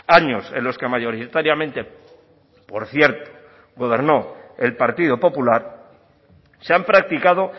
años en los que mayoritariamente por cierto gobernó el partido popular se han practicado